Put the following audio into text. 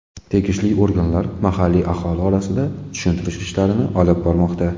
Tegishli organlar mahalliy aholi orasida tushuntirish ishlarini olib bormoqda.